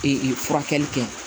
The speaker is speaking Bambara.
Ee furakɛli kɛ